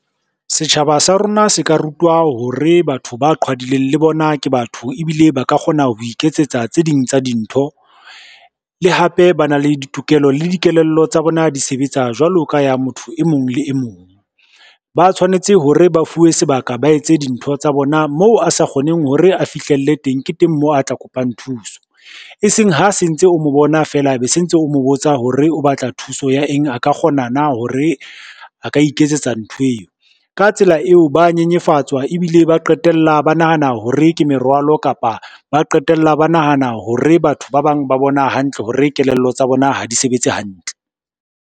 Setjhaba sa rona se ka rutwa hore batho ba qhwadileng le bona ke batho ebile ba ka kgona ho iketsetsa tse ding tsa dintho. Le hape ba na le ditokelo, le dikelello tsa bona di sebetsa jwalo ka ya motho emong le emong. Ba tshwanetse hore ba fuwe sebaka ba etse dintho tsa bona moo a sa kgoneng hore a fihlelle teng, ke teng moo a tla kopang thuso. Eseng ha se ntse o mo bona feela, be se ntse o mo botsa hore o batla thuso ya eng? A ka kgona na hore a ka iketsetsa ntho eo? Ka tsela eo ba nyenyefatswa ebile ba qetella ba nahana hore ke merwalo, kapa ba qetella ba nahana hore batho ba bang ba bona hantle hore kelello tsa bona ha di sebetse hantle.